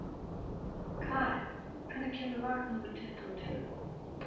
Karen, hvenær kemur vagn númer tuttugu og tvö?